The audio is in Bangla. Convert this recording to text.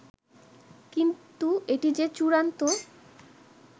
কিন্তু এটি যে চূড়ান্ত